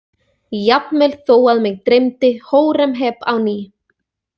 Jafnvel þó að mig dreymdi Hóremheb á ný.